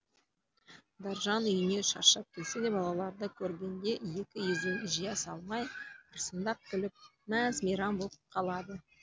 дәржан үйіне шаршап келсе де балаларды көргенде екі езуін жия салмай ырсыңдап күліп мәз мейрам боп қалады